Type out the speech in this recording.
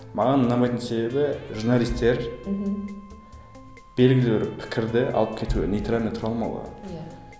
маған ұнамайтын себебі журналистер мхм белгілі бір пікірді алып кетуге нейтрально тұра алмауы иә